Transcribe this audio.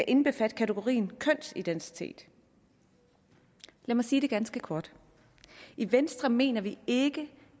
indbefatter kategorien kønsidentitet lad mig sige det ganske kort i venstre mener vi ikke